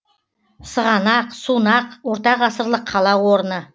сығанақ сунақ ортағасырлық қала орны